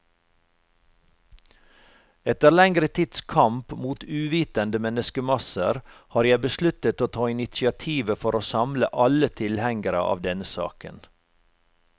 Etter lengre tids kamp mot uvitende menneskemasser, har jeg besluttet å ta initiativet for å samle alle tilhengere av denne saken.